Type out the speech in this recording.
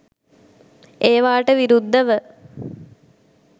ඒවාට විරුද්ධව